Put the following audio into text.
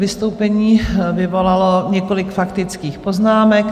Vystoupení vyvolalo několik faktických poznámek.